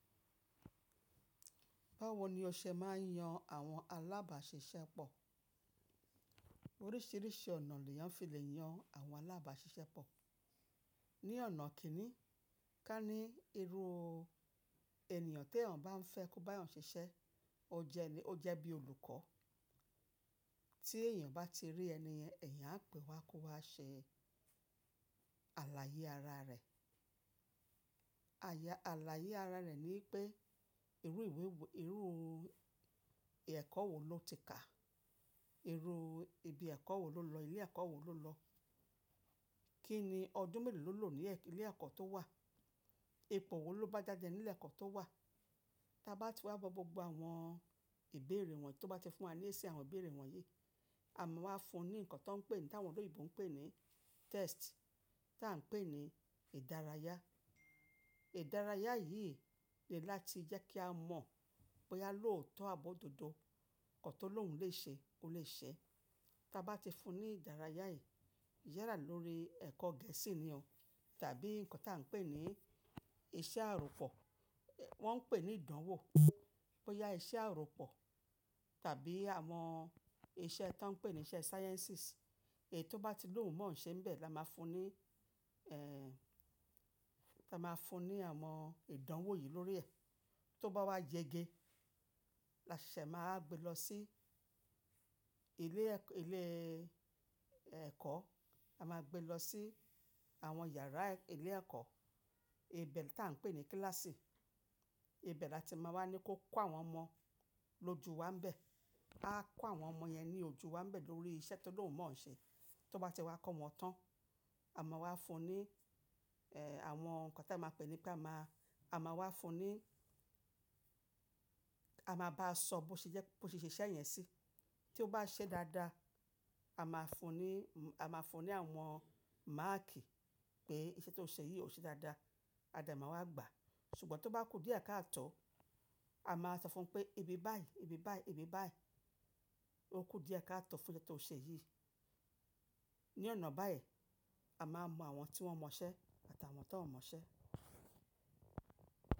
Báwo ni o ṣe máa ń yan àwọn alábàáṣiṣẹ́pọ̀? Oríṣìíríṣìí ọ̀nà leeyán fi lè yan àwọn alábàáṣiṣẹ́pọ̀. Ni ọ̀nà kìn-ín-ní, ká ní irú ènìyàn ti èèyàn bá ń fẹ́ kó bá eeyan ṣiṣẹ́, ó jẹ ní ó jẹ́ bí olùkọ́. Tí èèyàn bá ti rí ẹni yẹn, ẹ̀eyàn á pè wá kó wá ṣe àlàyé ara rẹ̀. Àya àlàyé ara rẹ̀ ni wipé irú ìwé wo irú ẹ̀kọ́ wo ló ti kà, irú ibi ẹ̀kọ́ wo ló lọ ilé ẹ̀kọ́ wo ló lọ, kí ni ọdún mélòó ló lò ní ilé ẹ̀kọ́ tó wà, ipò wo ló bá jáde nílé ẹ̀kọ́ tó wà. Ta bá ti wá gbọ́ gbogbo àwọn ìbéèrè wọ̀nyí tó bá ti fún wa ní ẹsẹ̀ àwọn ìbéèrè wọ̀nyí, a máa wá fún un ní nǹkan tó ń pè ní táwọn òloyìnbó ń pè ní test tá à ń pè ní ìdárayá. Ìdárayá yìí ni láti jẹ́ kí a mọ̀ boyá lóótọ́ àbi ododo, nǹkan tó lóhùn lè ṣe ó lè ṣẹ. Ta bá ti fún un ní ìdárayá yìí, yàrá lórí ẹ̀kọ́ Gẹ̀ẹ́sì ni o tàbí nǹkan tá à ń pè ní iṣẹ́ àròpọ̀, wọ́n ń pè ní ìdánwò. Boyá iṣẹ́ àròpọ̀ tàbí àwọn iṣẹ́ to ń pè ní iṣẹ́ sciences èyí tó bá ti lóhùn mọ́ ǹ ṣen bẹ̀, la máa fún un ní ẹ́ ta máa fún un ní àwọn ìdánwò yìí lórí ẹ̀. Tó bá wá yege, a ṣese máa wa gbé lọ sí ilé ẹ̀kọ́, a máa gbé lọ sí àwọn yàrá ilé ẹ̀kọ́, ibẹ̀ ti à ń pè ní kíláàsì. Ibẹ̀ la ti máa wá ní kó kọ́ àwọn ọmọ lójú wa n bẹ̀. Aa kọ́ àwọn ọmọ yẹn ní ojú wa n bẹ̀ lórí iṣẹ́ tó lóhùn mọ́ ǹ ṣe. Tó bá ti wá kọ́ wọn tán, a máa wá fún un ní ẹ́ àwọn nǹkan tá a máa pè ní pé a máa, a máa wá fún un ní, a máa bá a sọ bó ṣe jẹ́ bó ṣe ṣiṣẹ́ yẹn sí. Tí ó bá ṣẹ́ dáadáa, a máa fún un ní a máa fún un ní àwọn máàkì pé iṣẹ́ tó ń ṣe yìí ò ṣe dáadáa, a de máa wá gbà. Ṣùgbọ́n tó bá kú díẹ̀ ká à tọ́, a máa sọ fún pé ibi báyìí, ibi báyìí, ibi báyìí, ó kú díẹ̀ ká à tọ́ fún ẹ to ṣe eyìí. Ni ọ̀nà báyìí, a máa mọ àwọn tí wọ́n mọ iṣẹ́ àtàwọn tó n mọ iṣẹ́.